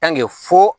fo